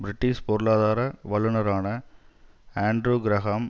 British பொருளாதார வல்லுனரான Andrew Graham